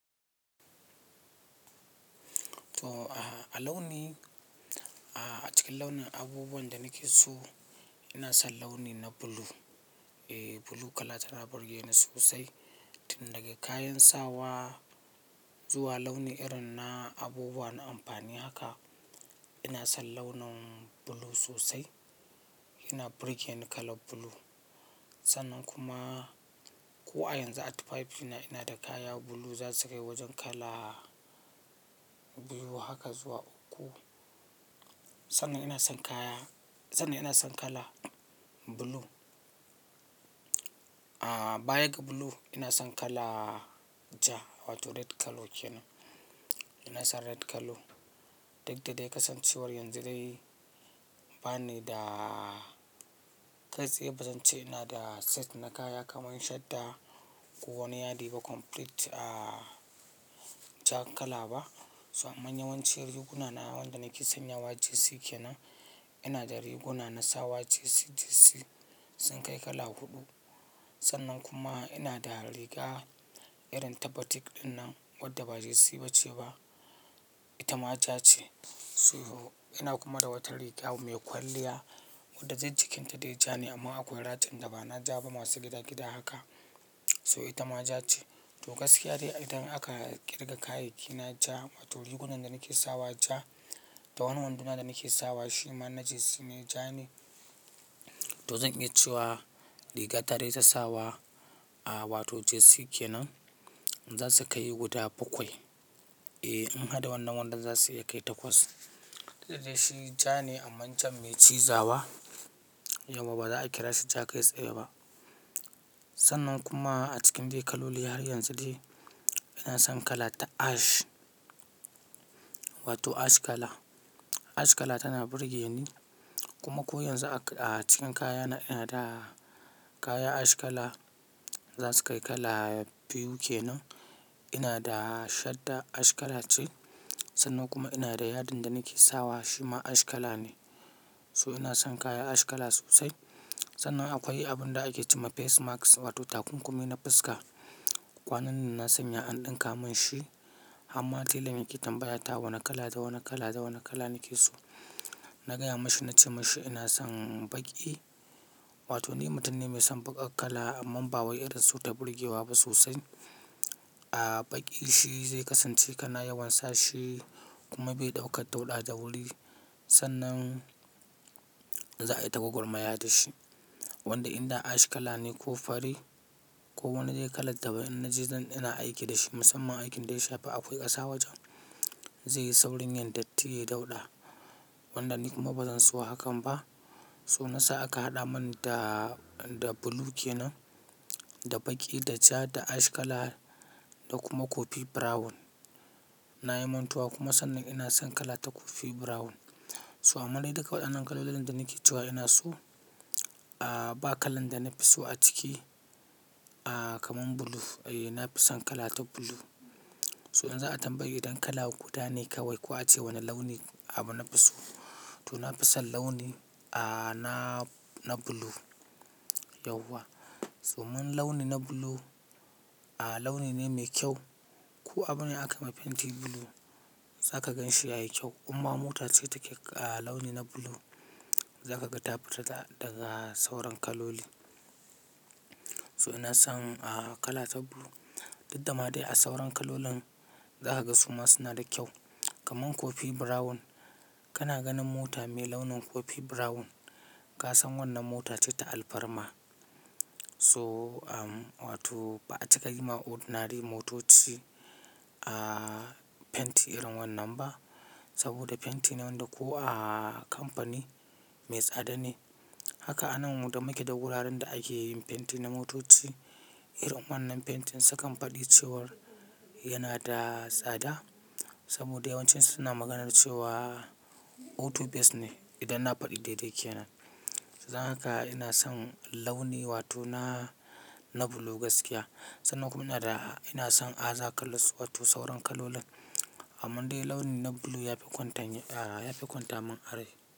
To, a launi a cikin launin abubuwan da nake so ina son launi na blue. E, blue kala tana burge ni sosai. Tun daga kayan sawa zuwa launi irin na abubuwa na amfani haka ina son launin blue sosai. Yana burge ni kala blue. Sannan kuma ko a yanzu a tufafi ina da kaya blue za su kai wajen kala biyu haka zuwa uku. Sannan ina son kaya, sannan ina son kala blue. A, bayan ga blue ina son kala ja wato red colour kenan. Ina son red colour. Duk dadai kasancewar yanzu dai bani da kai tsaye bazan ce ina da set na kaya kamar shadda ko wani yadi ba complete, a, ja kala ba. To amma yawanci riguna na wanda nake sanya wa jersey kenan ina da riguna na sawa jersey, jersey sun kai kala huɗu. Sannan kuma ina da riga irin ta batik ɗinnan wadda ba jersey ba ce ba. Ita ma ja ce. So ina kuma da wata riga mai kwalliya wanda dai jikinta dai ja ne amma akwai ratin da ba na ja ba masu gida gida haka. So ita ma ja ce. To gaskiya dai idan aka ƙirga kayayyaki na ja wato rigunan da nake sawa ja da wani wando na da nake sawa shima na jersey ne ja ne. To zan iya cewa riga ta dai ta sawa, a, wato jersey kenan za su kai guda bakwai. E, in har da wannan wandon za su iya kai takwas. Sai dai shi ja ne amman can mai ciza ba. Yauwa ba za a kira shi ja kai tsaye ba. Sannan kuma a cikin dai kaloli har yanzu dai ina son kala ta ash wato ash kala. Ash kala tana burge ni kuma ko yanzu a cikin kayana ina da kaya ash kala za su kai kala biyu kenan. Ina da shadda ash kala ce sannan kuma ina da yadin da nake sawa shima ash kala ne. So ina son kaya ash kala sosai. Sannan akwai abun da ake ce ma face mask wato takunkumi na fuska. Kwanan nan na sanya an ɗinka mun shi har ma tailan yake tambaya ta wane kala da wane kala da wane kala ni ke so. Na gaya mashi na ce mashi ina son baƙi wato ni mutum ne mai son baƙar kala amma ba wai irin su ta burge wa ba sosai. A, baƙi shi zai kasance kana yawan sa shi kuma bai ɗauka dauɗa da wuri sannan za a yi ta gwagwarmaya da shi. Wanda in da ash kala ne ko fari ko wanni dai kalar daban na ji zan ina aiki da shi musamman aikin dai shafi akwai ƙasa wajen zai yi saurin yin dattii dauɗa. Wanda ni kuma bazan so hakan ba. To na sa aka haɗa mun da, da blue kenan, da baƙi, da ja, da ash kala da kuma coffee brown. Na yi mantuwa kuma sannan ina son kala ta coffee brown. To amma dai duka waɗannan kalolin da nake cewa ina so, a, ba kalan da na fi so a ciki, a, kaman blue. E, na fi son kala ta blue. To in za a tambayi idan kala guda ne kawai ko a ce wane launi abu na fi so to na fi son launi, a, na, na blue yauwa. To mun launi na blue, a, launi ne mai kyau. Ko abune aka yi ma fenti blue za ka gan shi yayi kyau. In ma mota ce take a launi na blue za ka ga ta fitar da, daga sauran kaloli. To ina son, a, kala ta blue. Duk da ma dai a sauran kalolin za ka ga su ma suna da kyau. Kaman coffee brown kana ganin mota mai launin coffee brown ka san wannan mota ce ta alfarma. To, a, wato ba a cika yi ma ordinary motoci, a, fenti irin wannan ba saboda fenti ne wanda ko a kamfani mai tsada ne. Haka anan mu da make da wuraren da ake yin fenti na motoci irin wannan fentin su kan faɗi cewar yana da tsada saboda yawancin su suna maganar cewa auto base ne idan na faɗi daidai kenan. Dan haka ina son launi wato na, na blue gaskiya. Sannan kuma ina da ina son aza kalos wato sauran kalolin. Amma dai launi na blue ya fi kwanta min a, ya fi kwanta mun a rai.